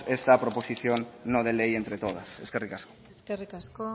esta proposición no de ley entre todas eskerrik asko eskerrik asko